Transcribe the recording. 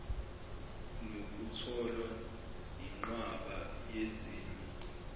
nokutholwa yinqwaba yezinye